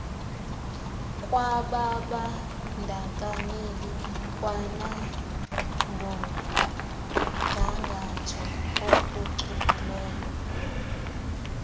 lwababandakanyeki kwanangomgangatho ophucukileyo